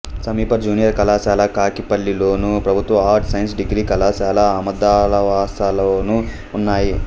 సమీప జూనియర్ కళాశాల కాకిపల్లిలోను ప్రభుత్వ ఆర్ట్స్ సైన్స్ డిగ్రీ కళాశాల ఆమదాలవలసలోనూ ఉన్నాయి